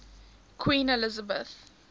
queen elizabeth